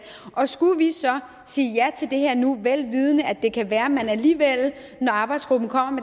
og skulle vi så sige ja til det her nu velvidende at det kan være at man alligevel når arbejdsgruppen kommer